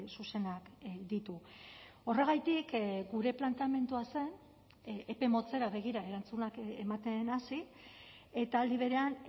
zuzenak ditu horregatik gure planteamendua zen epe motzera begira erantzunak ematen hasi eta aldi berean